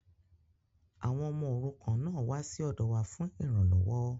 Àwọn ọmọ òrukàn náà wá sí ọ̀dọ wa fún ìranlọ́wọ́